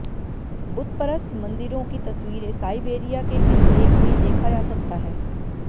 बुतपरस्त मंदिरों की तस्वीरें साइबेरिया के इस लेख में देखा जा सकता है